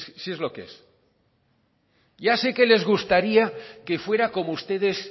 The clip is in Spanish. si es lo que es ya sé que les gustaría que fuera como ustedes